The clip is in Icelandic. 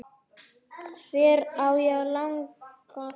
Hver á að laga þetta?